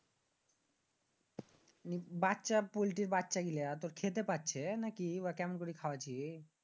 বাচ্চা পল্টির বাচ্চা গিলা মানি তুর খেতে পারছে নাকি বা কেমন করে খাওয়াচ্ছি?